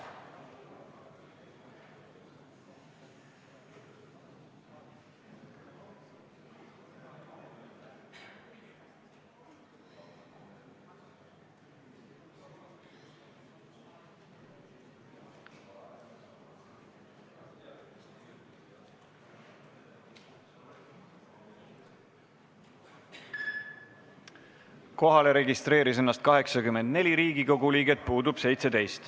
Kohaloleku kontroll Kohalolijaks registreeris ennast 84 Riigikogu liiget, puudub 17.